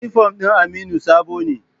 Inifom ɗin Aminu sabo ne